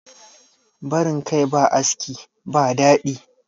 barin Kai ba aski ba dadi